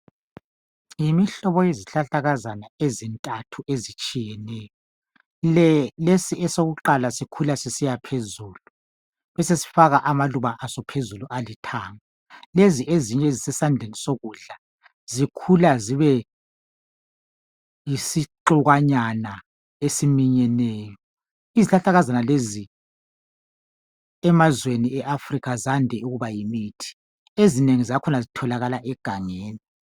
Yimihlobo yezihlahlakazana ezintathu ezehlukeneyo. Lesi esokuqala sikhula sisiya phezulu besesifaka amaluba aso phezulu alithanga, lezi ezinye ezisesandleni sokudla zikhulwa zibe yisixukwanyana esiminyeneyo. Izihlahlakazana lezi emazweni ase Africa zande ukuba yimithi. Ezinengi zakhona zitholakala egangeni.